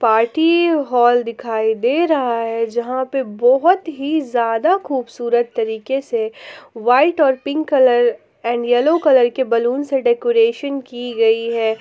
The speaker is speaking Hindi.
पार्टी हॉल दिखाई दे रहा है जहां पे बहुत ही जड़ा खुबसुरत तरीके से वाइट और pink colour and yellow colour के बैलून से डेकोरेशन की गई है।